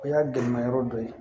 O y'a gɛlɛma yɔrɔ dɔ ye